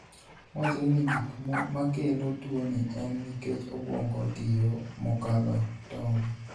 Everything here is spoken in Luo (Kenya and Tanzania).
Wachre ni gik makelo tuoni en nikech obwongo tiyo mokalo tong'.